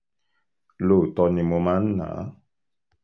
lóòótọ́ ni mo máa ń ná a